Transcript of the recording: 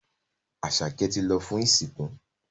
Asake tí lọ fún ìsìnkú.